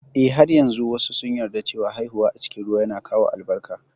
Eh, har yanzu wasu sun yarda cewa haihuwa a cikin ruwa yana kawo albarka